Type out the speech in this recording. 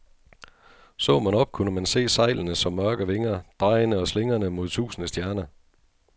Så man op, kunne man se sejlene som mørke vinger, drejende og slingrende mod tusinde stjerner.